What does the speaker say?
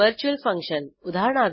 virtual function उदा